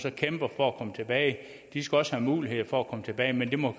og kæmper for at komme tilbage de skal også have mulighed for at komme tilbage men det må